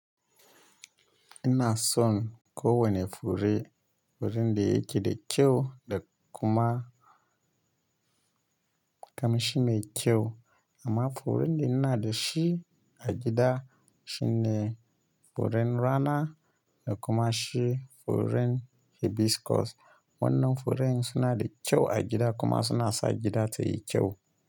Ina son ko wane fure, furen da yake da kyau da kuma kamshi mai kyau amma furen da ina da shi a gida shine furen rana da kuma shi furen hibiscus. Wannnan furen suna da kyau a gida kuma suna sa gida tayi kyau.